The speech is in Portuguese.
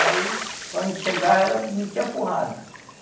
E aí, quando a gente chegava, ela metia a porrada.